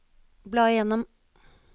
bla gjennom